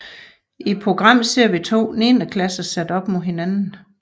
I programmet ser vi to 9 klasser sat op mod hinanden